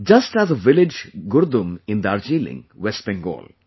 Just as a village Gurdum in Darjeeling, West Bengal